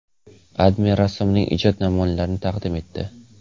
AdMe rassomning ijod namunlarini taqdim etdi .